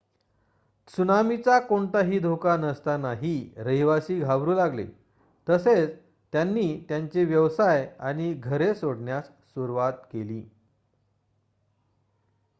त्सुनामीचा कोणताही धोका नसतानाही रहिवासी घाबरू लागले तसेच त्यांनी त्यांचे व्यवसाय आणि घरे सोडण्यास सुरवात केली